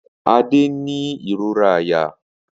Ade n ni irora àyà.